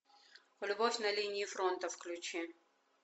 любовь на линии фронта включи